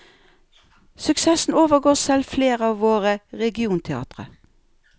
Suksessen overgår selv flere av våre regionteatre.